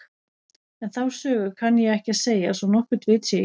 En þá sögu kann ég ekki að segja svo nokkurt vit sé í.